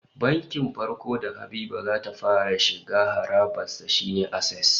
Bankin farko da Habiba za ta fara shiga harabar sa shine Access